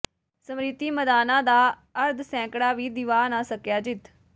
ਸਿਮ੍ਰਤੀ ਮੰਧਾਨਾ ਦਾ ਅਰਧ ਸੈਂਕੜਾ ਵੀ ਦਿਵਾ ਨਾ ਸਕਿਆ ਜਿੱਤ